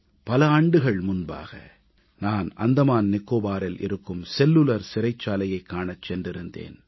பல ஆண்டுகள் முன்பாக நான் அந்தமான் நிக்கோபாரில் இருக்கும் செல்லுலர் சிறைச்சாலையைக் காணச் சென்றிருந்தேன்